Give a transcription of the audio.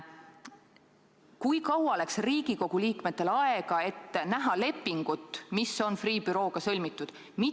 Kui kaua läks Riigikogu liikmetel aega, et näha lepingut, mis on Freeh' bürooga sõlmitud?!